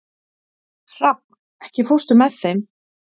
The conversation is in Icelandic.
Hrafn, ekki fórstu með þeim?